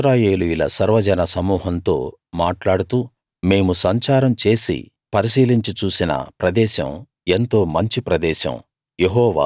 ఇశ్రాయేలీయుల సర్వజన సమూహంతో మాట్లాడుతూ మేము సంచారం చేసి పరిశీలించి చూసిన ప్రదేశం ఎంతో మంచి ప్రదేశం